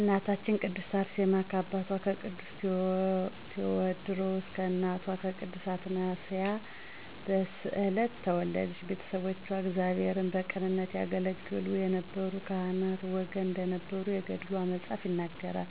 እናታችን ቅድስት አርሴማ ከአባቷ ከቅዱስ ቴወድሮስ ከእናቷ ቅድስት አትናስያ በስዕለት ተወለደች። ቤተሰቦቿ እግዚአብሔርን በቅንነት ያገለገሉ ከነበሩ ካህናት ወገን እንደነበሩ የገድሏ መፅሀፍ ይነግረናል።